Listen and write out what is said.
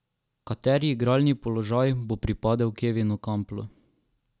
Kateri igralni položaj bo pripadel Kevinu Kamplu?